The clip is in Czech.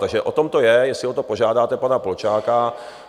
Takže o tom to je, jestli o to požádáte pana Polčáka.